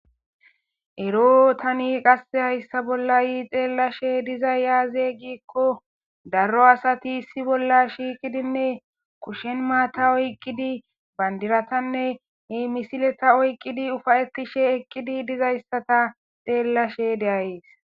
Ero tani qasse hayssa bollayi xeellashe dizay yaaze gikko daro asati issi bolla shiiqidinne kushen maata oyqqidi bandiratanne he misileta oyqqidi ufayetishe eqqidi dizayssata xeellashe deayees.